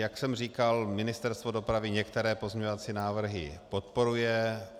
Jak jsem říkal, Ministerstvo dopravy některé pozměňovací návrhy podporuje.